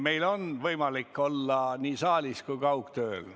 Meil on võimalik olla nii saalis kui ka kaugtööl.